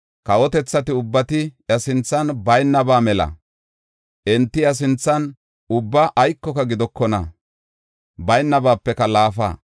Kawotethati ubbay iya sinthan baynaba mela; enti iya sinthan ubba aykoka gidokona; baynabapeka laafa.